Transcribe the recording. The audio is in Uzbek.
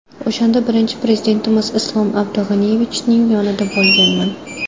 O‘shanda birinchi Prezidentimiz Islom Abdug‘aniyevichning yonida bo‘lganman.